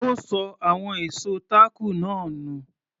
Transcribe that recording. Ó ṣọ àwọn ìṣó táàkù náà nù.